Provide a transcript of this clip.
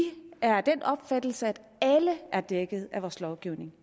er af den opfattelse at alle er dækket af vores lovgivning